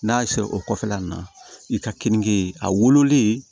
N'a y'a sɛ o kɔfɛla nin na i ka keninke a wololen